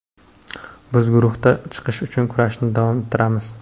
Biz guruhdan chiqish uchun kurashni davom ettiramiz.